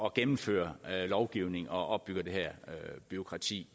at gennemføre lovgivning og opbygge det her bureaukrati